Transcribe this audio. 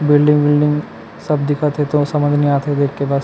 building विलदिड सब दिखत हे तो समझ नई आत हे देख के बस--